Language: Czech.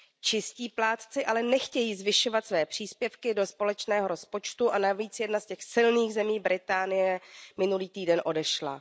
Čistí plátci ale nechtějí zvyšovat své příspěvky do společného rozpočtu a navíc jedna z těch silných zemí, Británie, minulý týden odešla.